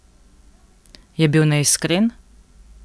Je bil neiskren?